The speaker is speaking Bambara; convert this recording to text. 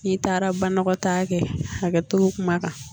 N'i taara banɔgɔtaa kɛ hakɛto bɛ kuma kan.